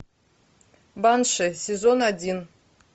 банши сезон один